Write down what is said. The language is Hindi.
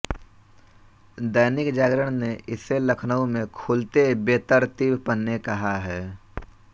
दैनिक जागरण ने इसे लखनऊ में खुलते बेतरतीब पन्ने कहा है